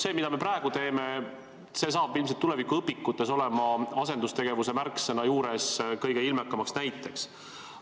See, mida me praegu teeme, saab ilmselt tulevikuõpikutes olema asendustegevuse märksõna juures kõige ilmekamaks näiteks.